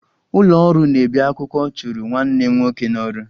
Ụlọ ọrụ na-ebi akwụkwọ chụrụ nwanne m nwoke n'ọrụ